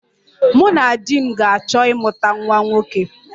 Mụ na di m ga-achọ ịmụta nwa nwoke